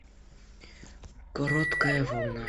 короткая волна